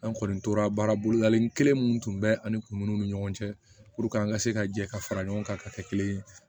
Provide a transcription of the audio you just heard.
An kɔni tora baarabolo kelen minnu tun bɛ ani kunun ni ɲɔgɔn cɛ an ka se ka jɛ ka fara ɲɔgɔn kan ka kɛ kelen ye